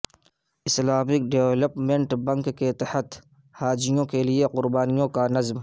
Islamic Development Bank کے تحت حاجیوں کے لیے قربانیوں کا نظم